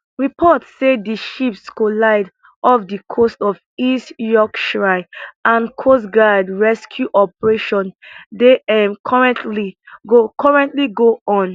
reports say di ships collide off di coast of east yorkshire and coastguard rescue operation dey um currently go currently go on